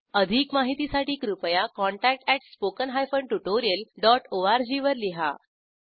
अधिक माहितीसाठी कृपया contact at spoken hyphen tutorial dot O R G वर लिहा